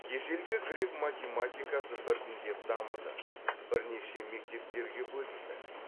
ежелгі грек математикасы біртіндеп дамыды бірнеше мектептерге бөлінді